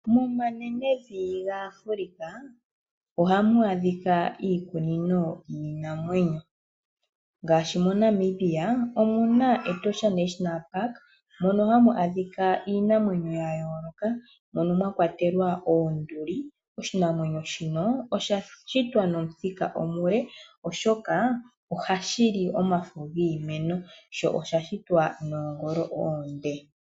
Momanenevi yaAfrica ohamu adhika iikunino yiinamwenyo. Ngaashi moNamibia omuna Etosha national park mono hamu adhika iinamwenyo ngaashi oonduli. Onduli oshinanwenyo sha shitwa nomuthika omule oshoka ohashi li omafo giimeno.